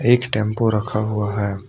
एक टेंपो रखा हुआ है।